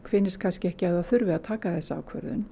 finnist kannski ekki að það þurfi að taka þessa ákvörðun